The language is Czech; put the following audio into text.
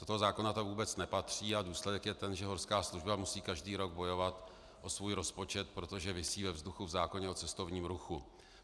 Do toho zákona to vůbec nepatří a důsledek je ten, že horská služba musí každý rok bojovat o svůj rozpočet, protože visí ve vzduchu v zákoně o cestovním ruchu.